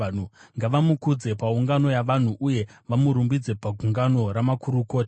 Ngavamukudze paungano yavanhu, uye vamurumbidze pagungano ramakurukota.